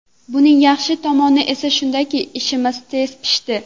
Buning yaxshi tomoni esa shundaki, ishimiz tez pishdi.